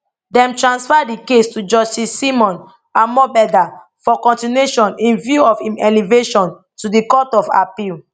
dem transfer di case to justice simon amobeda for continuation in view of im elevation to di court of appeal